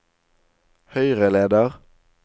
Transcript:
høyreleder